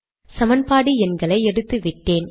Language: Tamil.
சமன்பாடு எண்களை எடுத்துவிட்டேன்